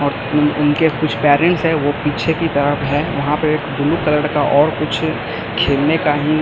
और उन उनके कुछ पेरेंट्स है वो पीछे की तरफ है वहां पे एक ब्लू कलर का और कुछ खेलने का ही--